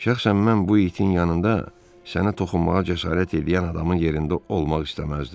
Şəxsən mən bu itin yanında sənə toxunmağa cəsarət eləyən adamın yerində olmaq istəməzdim.